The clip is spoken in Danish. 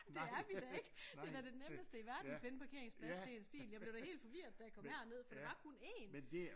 Det er vi da ikke det er da det nemmeste i verden at finde en parkeringsplads til ens bil jeg blev da helt forvirret da jeg kom herned for der var kun én